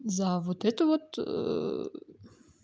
за вот эту вот